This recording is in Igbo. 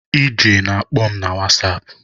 Ije na-akpọ m na whasapụ